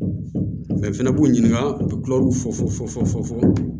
fɛnɛ b'u ɲininka u bɛ kulɛruw fɔ fɔ